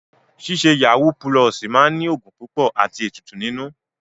Ṣíṣe yàwúú pulọ̀ọ̀sì máa ní ògùn púpọ̀ àti ètùtù nínú.